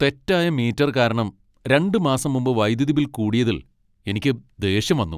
തെറ്റായ മീറ്റർ കാരണം രണ്ട് മാസം മുമ്പ് വൈദ്യുതി ബിൽ കൂടിയതിൽ എനിക്ക് ദേഷ്യം വന്നു.